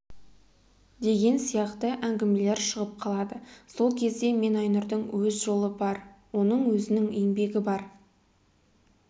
деген сияқты әңгімелер шығып қалады сол кезде мен айнұрдың өз жолы бар оның өзінің еңбегі бар